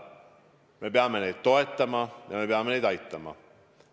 Me peame neid toetama ja me peame neid aitama.